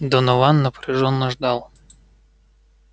донован напряжённо ждал